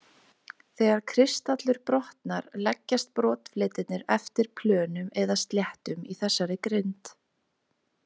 Þegar kristallur brotnar leggjast brotfletirnir eftir plönum eða sléttum í þessarri grind.